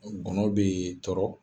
Ngɔnɔn b'e tɔrɔ